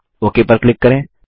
okay पर click करें